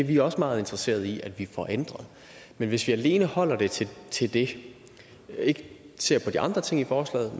vi også meget interesseret i at vi får ændret men hvis vi alene holder det til til det og ikke ser på de andre ting i forslaget